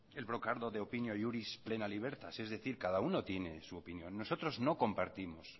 el brocardo de opinio y iuris plena libertas es decir cada uno tiene su opinión nosotros no compartimos